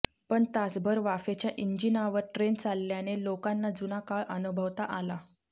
पण तासभर वाफेच्या इंजिनावर ट्रेन चालल्याने लोकांना जुना काळ अनुभवता आला